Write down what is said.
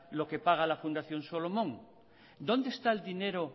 lo que paga la fundación solomón dónde está el dinero